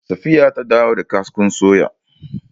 Safiya ta dawo da kaskon suyar.